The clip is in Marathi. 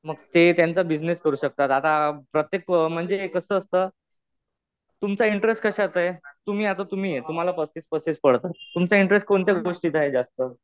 मग ते त्यांचा बिझिनेस करू शकतात. आता प्रत्येक म्हणजे कसं असतं, तुमचा इंटरेस्ट कशात आहे? तुम्ही आता तुम्ही आहे. तुम्हाला पस्तीस पर्सेंट पडतात. तुमचा इंटरेस्ट कोणत्या गोष्टीत आहे जास्त?